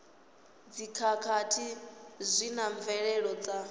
dzikhakhathi zwi na mvelelo dza